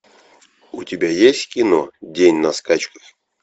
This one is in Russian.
у тебя есть кино день на скачках